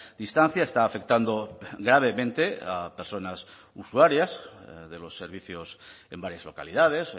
distancia está afectando gravemente a personas usuarias de los servicios en varias localidades